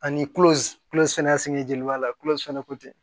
Ani kulo kulo sɛnɛ jeniba la kulo sɛnɛko tɛ